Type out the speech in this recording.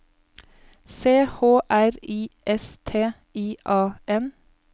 C H R I S T I A N